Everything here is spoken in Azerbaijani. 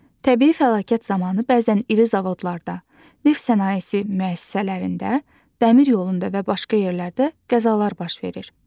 Təbii fəlakət zamanı bəzən iri zavodlarda, neft sənayesi müəssisələrində, dəmir yolunda və başqa yerlərdə qəzalar baş verir.